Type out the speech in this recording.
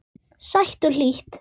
Sæt og hlý.